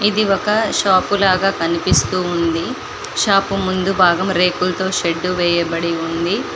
ఇది ఒక షాపు లో కనిపిస్తూ ఉంది షాపు ముందు భాగం రేకులతో షెడ్డు వేయబడి ఉంది.